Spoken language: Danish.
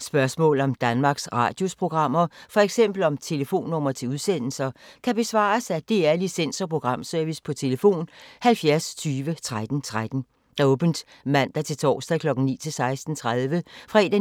Spørgsmål om Danmarks Radios programmer, f.eks. om telefonnumre til udsendelser, kan besvares af DR Licens- og Programservice: tlf. 70 20 13 13, åbent mandag-torsdag 9.00-16.30, fredag